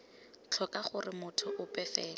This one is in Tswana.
tlhoka gore motho ope fela